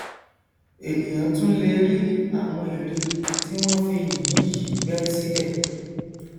ènìà tún lè rí àwọn ère tí wọn fi yìnyín yìí gbẹ síbẹ